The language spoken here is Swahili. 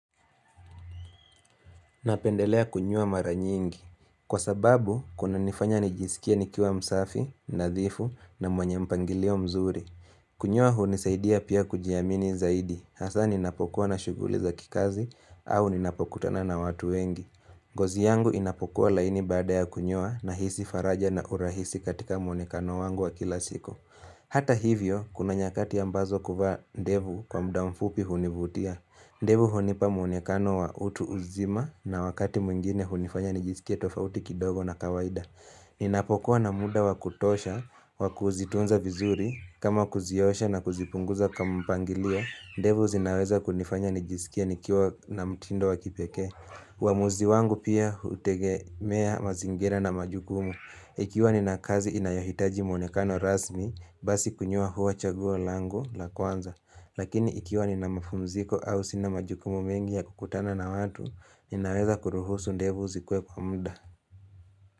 Napendelea kunyoa mara nyingi. Kwa sababu, kuna nifanya nijisikie nikiwa msafi, nadhifu na mwenye mpangilio mzuri. Kunyoa hunisaidia pia kujiamini zaidi. Hasa ninapokuwa na shuguli za kikazi au ninapokutana na watu wengi. Ngozi yangu inapokuwa laini baada ya kunyoa nahisi faraja na urahisi katika muonekano wangu wa kila siku. Hata hivyo, kuna nyakati ambazo kuvaa ndevu kwa muda mfupi hunivutia. Ndevu hunipa mwonekano wa utu uzima na wakati mwingine hunifanya nijisikie tofauti kidogo na kawaida. Ninapokuwa na muda wakutosha, wakuzitunza vizuri, kama kuziosha na kuzipunguza kama mpangilio, ndevu zinaweza kunifanya nijisikie nikiwa na mtindo wakipekee. Uamuzi wangu pia hutegemea mazingira na majukumu. Ikiwa nina kazi inayohitaji mwonekano rasmi, basi kunyoa huwa chaguo lango la kwanza. Lakini ikiwa nina mapumziko au sina majukumu mengi ya kukutana na watu, ninaweza kuruhusu ndevu zikuwe kwa muda.